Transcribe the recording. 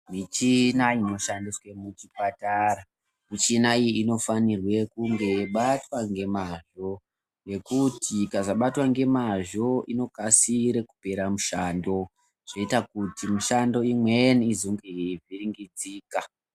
Michini inoshandiswa muzvipatara inofanha kubatwa ngemazvo ngekuti ikasabatwa ngemazvo inokasira kupera mushando zvoita kuti mishando imweni izonga yeivhiringidzika.